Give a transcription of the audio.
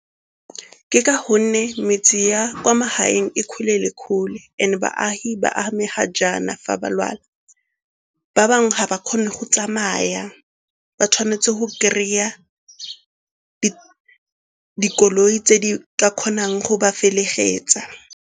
Ke ka gonne metse ya kwa magaeng e kgole le kgole and-e baagi ba amega jaana fa ba lwala, ba bangwe ga ba kgone go tsamaya ba tshwanetse go kry-a dikoloi tse di ka kgonang go ba felegetsa.